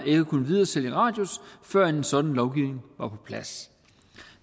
ville kunne videresælge radius før en sådan lovgivning var på plads